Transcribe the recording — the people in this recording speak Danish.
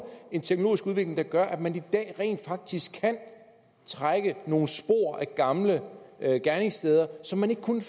en teknologisk udvikling der gør at man i dag rent faktisk kan trække nogle spor af gamle gerningssteder som man ikke kunne